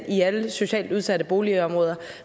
i alle socialt udsatte boligområder